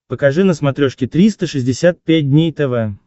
покажи на смотрешке триста шестьдесят пять дней тв